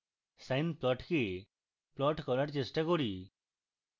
sine প্লটকে plot করার চেষ্টা করি